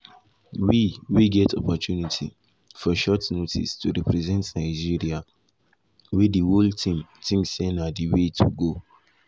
we we get opportunity for short notice to represent nigeria wey di whole team tink say na di way to go."